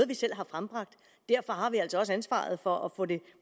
vi selv har frembragt derfor har vi altså også ansvaret for at få det